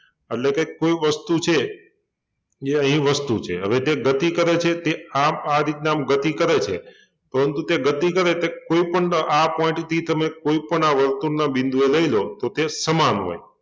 એટલે કોઈ વસ્તુ છે એ અહિં વસ્તુ છે હવે તે ગતિ કરે છે તે આમ આ રીતના આમ ગતિ કરે છે તો એમ કવ કે ગતિ કરે કે કોઈ પણ ના આ point થી તમે કોઈપણ આ વર્તુળના બિંદુએ લઈ લો તો તે સમાન હોય